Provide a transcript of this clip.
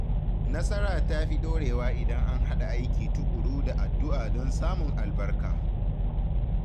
Nasara ta fi ɗorewa idan an haɗa aiki tuƙuru da addu’a don samun albarka.